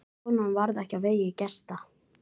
Konan varð ekki á vegi gesta.